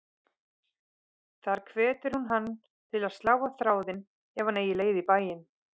Þar hvetur hún hann til að slá á þráðinn ef hann eigi leið í bæinn.